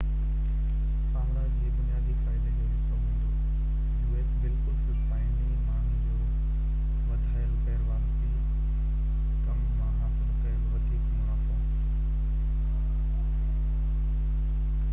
بلڪل فلپائني ماڻهن جو وڌايل غير واجبي ڪم مان حاصل ڪيل وڌيڪ منافعو u.s. سامراج جي بنيادي فائدي جوحصو هوندو